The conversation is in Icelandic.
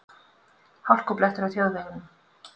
Hálkublettir á þjóðvegum